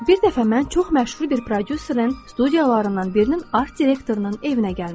Bir dəfə mən çox məşhur bir prodüserin studiyalarından birinin art direktorunun evinə gəlmişdim.